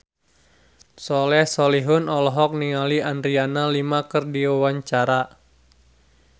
Soleh Solihun olohok ningali Adriana Lima keur diwawancara